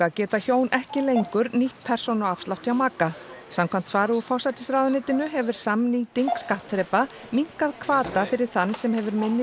geta hjón ekki lengur nýtt persónuafslátt hjá maka samkvæmt svari úr forsætisráðuneytinu hefur samnýting skattþrepa minnkað hvata fyrir þann sem hefur minni